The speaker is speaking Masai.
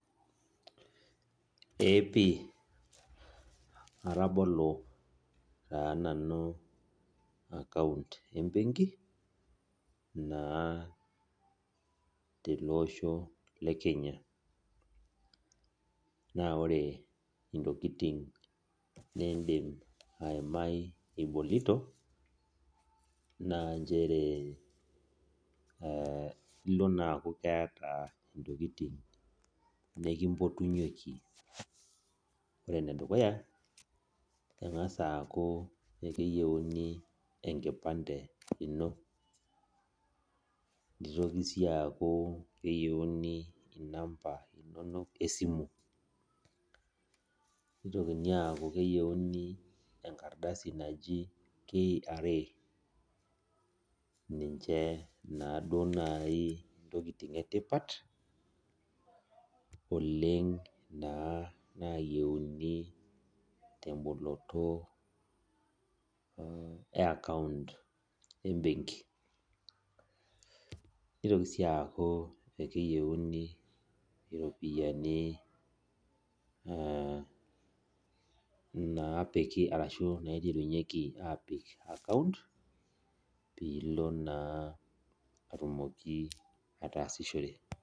Ee pii atabolo taa nanu account embenki na teleosho lekenya na ore ntokitin nidim aimai ibolito na ilo na aku keeta ntokitin nikimpotunyeki ore enedukuya engasa aaku keyieuni enkipande ino nitoki si aaku keyieuni namba inonok esimu nitoki aaku keyieuni enkardasi naji kra neaku ninche nai ntokitin etipat oleng na nayieuni temboloto e account embenki nitoki si aaku keyieuni ropiyani napiki naiterunyeki apik account pilo naa atumoki ataasishore